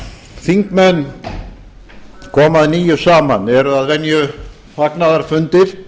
þingmenn koma að nýju saman eru að venju fagnaðarfundir